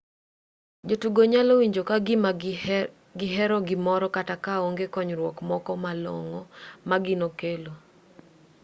jotugo nyalo winjo ka gima gihero gimoro kata ka onge konyruok moko ma long'o ma gino kelo